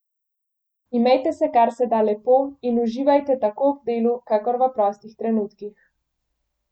Imejte se kar se da lepo in uživajte tako ob delu kakor v prostih trenutkih.